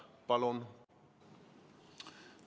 Palun!